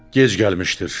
Gec gəlmişdir.